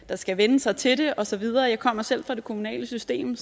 der skal vænne sig til det og så videre jeg kommer selv fra det kommunale system